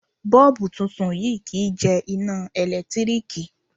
Bọ́ọ̀bú titun yìí kì í jẹ iná ẹ̀lẹ́tíríkì.